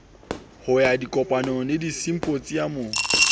ho ya dikopanong le disimphosiamong